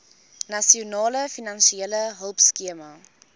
nasionale finansiële hulpskema